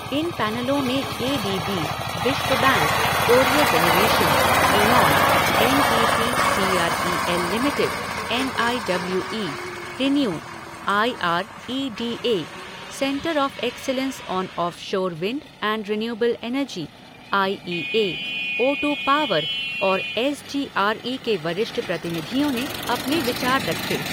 इन पैनलों में A D B, विश्व bank, Corio generation, Aeon, N T P C R E L limited, N I W E, ReNew, I R E D A, centre of excellence on offshore wind and renewable energy, I E A, O two power और S G R E के वरिष्ठ प्रतिनिधियों ने अपने विचार रखे।